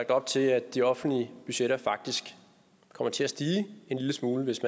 op til at de offentlige budgetter faktisk kommer til at stige en lille smule hvis